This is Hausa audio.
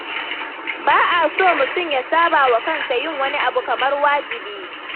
Ba a so mutum ya sabawa kansa yin wani abu kamar wajibi.